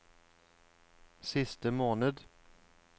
siste måned